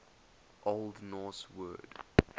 old norse word